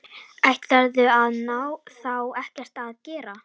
Ætlarðu þá ekkert að gera?